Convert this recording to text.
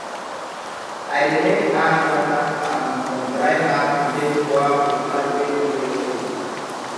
i dey make ash water um from dry herb to take pour for plant wey no dey ok